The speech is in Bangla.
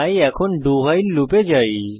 তাই এখন doভাইল লুপ এ যাই